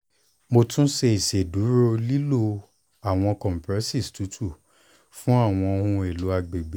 mo tun ṣe iṣeduro lilo awọn cs] compresses tutu fun awọn ohun elo agbegbe